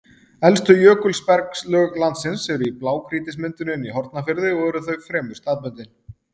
Elstu jökulbergslög landsins eru í blágrýtismynduninni í Hornafirði og eru þau fremur staðbundin.